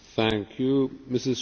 Panie Przewodniczący!